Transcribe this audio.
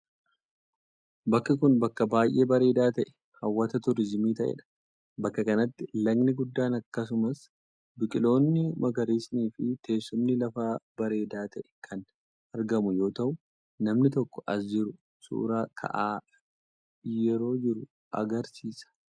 Bakki kun, bakka baay'ee bareedaa ta'e hawwata turizimii ta'ee dha. Bakka kanatti, lagni guddaan akkasumas biqiloonni magariisni fi teessumni lafaa bareedaa ta'e kan argamu yoo ta'u, namni tokko as jiru suura ka'aa yeroo jiru agarsiisa.